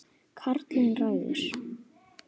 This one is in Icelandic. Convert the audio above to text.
Karlinn ræður.